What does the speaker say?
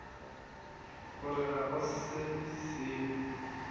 gore ga go se sengwe